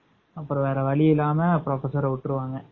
அப்பறம் வேற வழியில்லாம professor விட்ருவாங்க